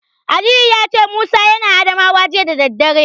Aliyu ya ce Musa yana Adamawa jiya da daddare.